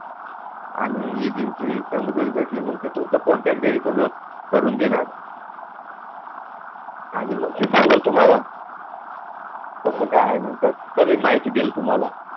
आणि agency चालू करायला भेटल्यावर तुम्हाला कोणत्या basis वर करुन देणार आणि मग ते चालेल तुम्हाला